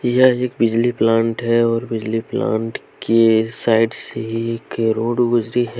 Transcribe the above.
यह एक बिजली प्लांट है और बिजली प्लांट के साइड से एक रोड गुजरी ह--